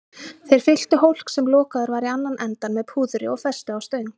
Þeir fylltu hólk, sem lokaður var í annan endann, með púðri og festu á stöng.